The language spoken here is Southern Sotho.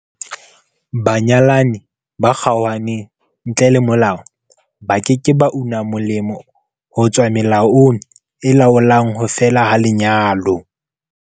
Banyalani ba kgaohaneng ntle le molao ba ke ke ba una molemo ho tswa melaong e laolang ho fela ha lenyalo.